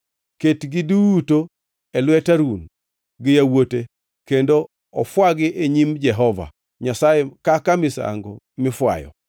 Ketgi duto e lwet Harun gi yawuote kendo ofwagi e nyim Jehova Nyasaye kaka misango mifwayo.